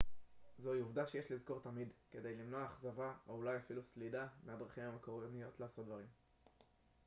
זוהי עובדה שיש לזכור תמיד כדי למנוע אכזבה או אולי אפילו סלידה מהדרכים המקומיות לעשות דברים